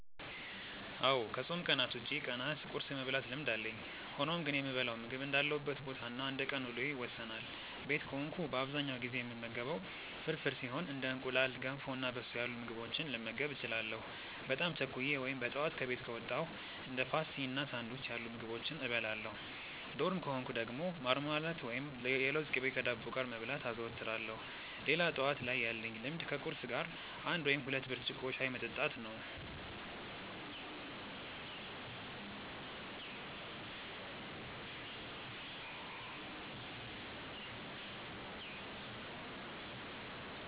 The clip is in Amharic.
አዎ ከፆም ቀናት ውጪ ቀናት ቁርስ የመብላት ልምድ አለኝ። ሆኖም ግን የምበላው ምግብ እንዳለሁበት ቦታ እና እንደቀን ውሎዬ ይወሰናል። ቤት ከሆንኩ በአብዛኛው ጊዜ የምመገበው ፍርፍር ሲሆን እንደ እንቁላል፣ ገንፎ እና በሶ ያሉ ምግቦችንም ልመገብ እችላለሁ። በጣም ቸኩዬ ወይም በጠዋት ከቤት ከወጣው እንደ ፓስቲ እና ሳንዱች ያሉ ምግቦችን እበላለሁ። ዶርም ከሆንኩ ደግሞ ማርማላት ወይም የለውዝ ቅቤ ከዳቦ ጋር መብላት አዘወትራለሁ። ሌላ ጠዋት ላይ ያለኝ ልምድ ከቁርስ ጋር አንድ ወይም ሁለት ብርጭቆ ሻይ መጠጣት ነው።